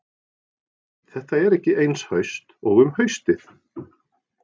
Þetta er ekki eins haust og um haustið.